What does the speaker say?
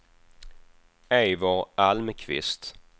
Eivor Almqvist